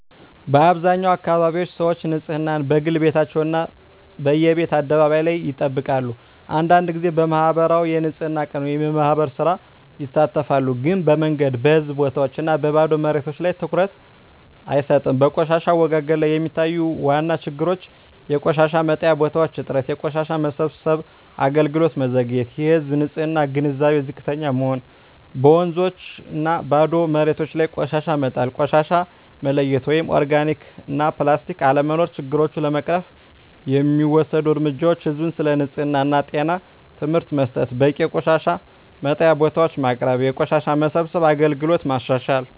በአብዛኛው አካባቢዎች ሰዎች ንፅህናን፦ በግል ቤታቸው እና በየቤት አደባባይ ላይ ይጠብቃሉ አንዳንድ ጊዜ በማኅበራዊ የንፅህና ቀን (የማህበር ሥራ) ይሳተፋሉ ግን በመንገድ፣ በህዝብ ቦታዎች እና በባዶ መሬቶች ላይ ትኩረት አይሰጥም በቆሻሻ አወጋገድ ላይ የሚታዩ ዋና ችግሮች የቆሻሻ መጣያ ቦታዎች እጥረት የቆሻሻ መሰብሰብ አገልግሎት መዘግየት የህዝብ ንፅህና ግንዛቤ ዝቅተኛ መሆን በወንዞችና ባዶ መሬቶች ላይ ቆሻሻ መጣል ቆሻሻ መለያየት (ኦርጋኒክ/ፕላስቲክ) አለመኖር ችግሮቹን ለመቅረፍ የሚወሰዱ እርምጃዎች ህዝብን ስለ ንፅህና እና ጤና ትምህርት መስጠት በቂ የቆሻሻ መጣያ ቦታዎች ማቅረብ የቆሻሻ መሰብሰብ አገልግሎትን ማሻሻል